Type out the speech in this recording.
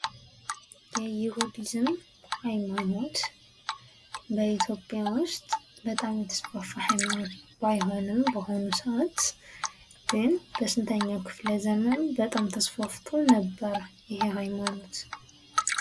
የይሁዲዝም ሀይማኖት በኢትዮጵያ ውስጥ በጣም የተስፋፋ ሃይማኖት ባይሆንም በሆኑ ሰአት ግን በስንተኛው ክፍለ ዘመኑ በጣም ተስፋፍቶ ነበረ ይህ ሀይማኖት ?